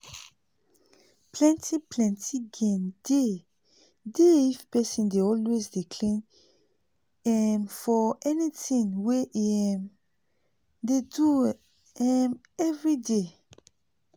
plenti plenti gain dey dey if pesin dey always dey clean um for anything wey e um dey do um everyday